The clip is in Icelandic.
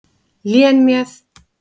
Lén með.